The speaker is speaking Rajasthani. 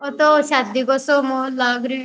ओ तो शादी गो सो माहोल लाग रयो है।